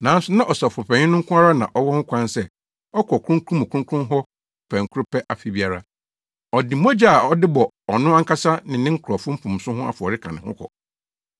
nanso na Ɔsɔfopanyin no nko ara na ɔwɔ ho kwan sɛ ɔkɔ Kronkron mu Kronkron hɔ pɛnkoro pɛ afe biara. Ɔde mogya a ɔde bɔ ɔno ankasa ne ne nkurɔfo mfomso ho afɔre ka ne ho kɔ.